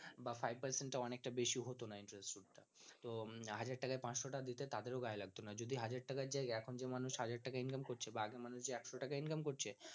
বা five percent টা অনেক টা বেশি হত না interest সুদ টা তো হাজার তাকে পাঁচশ টাকা দিতে তাদের ও গায়ে লাগত না যদি হাজার টাকার জায়গায় এখন যে মানুষ হাজার টাকা income করছে বা আগে যে মানুষ একশ টাকা income করছে